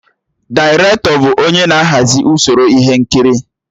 Dairetọ bụ onye na-ahazi usoro ihe nkiri